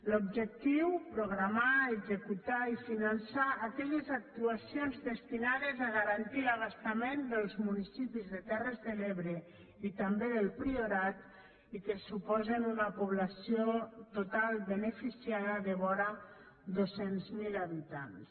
l’objectiu programar executar i finançar aquelles actuacions destinades a garantir l’abastament dels municipis de terres de l’ebre i també del priorat i que suposen una població total beneficiada de vora dos cents miler habitants